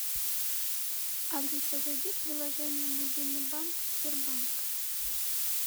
алиса зайди в приложение мобильный банк сбербанк